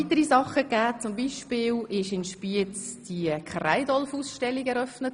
Weiter wurde in Spiez die Kreidolf-Ausstellung eröffnet.